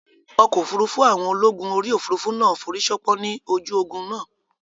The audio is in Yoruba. Ọkọ̀ òfurufú àwọn ológun orí òfurufú náà forísánpán ní ojú ogun náà